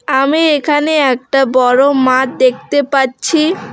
আমি এখানে একটা বড়ো মাঠ দেখতে পাচ্ছি।